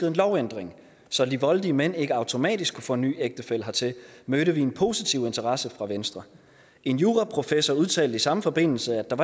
en lovændring så de voldelige mænd ikke automatisk kunne få en ny ægtefælle hertil mødte vi en positiv interesse fra venstre en juraprofessor udtalte i samme forbindelse at der